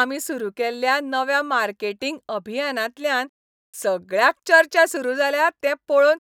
आमी सुरू केल्ल्या नव्या मार्केटिंग अभियानांतल्यान सगळ्याक चर्चा सुरू जाल्या तें पळोवन